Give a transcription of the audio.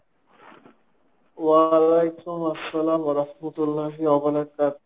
ওয়ালাইকুম আসসালাম রাহমাতুল্লাহি,